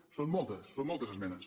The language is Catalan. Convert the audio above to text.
en són moltes són moltes esmenes